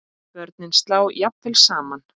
Börnin slá jafnvel saman.